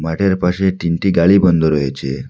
এর পাশে তিনটি গাড়ি বন্ধ রয়েছে।